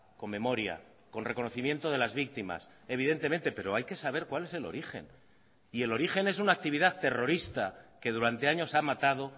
con memoria con reconocimiento de las víctimas evidentemente pero hay que saber cuál es el origen y el origen es una actividad terrorista que durante años ha matado